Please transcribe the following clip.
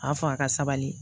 A y'a fɔ a ka sabali